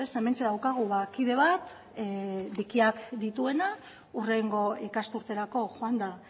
hementxe daukagu kide bat bikiak dituena hurrengo ikasturterako joan da